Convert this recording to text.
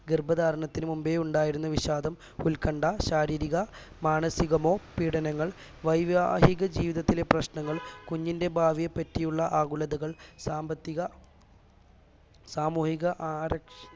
ഗർഭധാരണത്തിനു മുമ്പേ ഉണ്ടായിരുന്ന വിഷാദം ഉത്കണ്ഠ ശാരീരിക മാനസികമോ പീഡനങ്ങൾ വൈവാഹിക ജീവിതത്തിലെ പ്രശ്നങ്ങൾ കുഞ്ഞിന്റെ ഭാവിയെപ്പറ്റിയുള്ള ആകുലതകൾ സാമ്പത്തിക സാമൂഹിക ആരക്ഷി